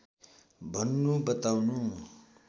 भन्नु बताउनु